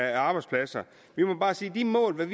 af arbejdspladser vi må bare sige at de mål vi